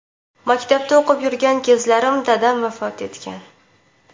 Maktabda o‘qib yurgan kezlarim dadam vafot etgan.